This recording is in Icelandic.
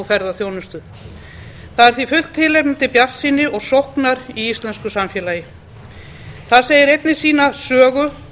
ferðaþjónustu það er því fullt tilefni til bjartsýni og sóknar í íslensku samfélagi það segir einnig sína sögu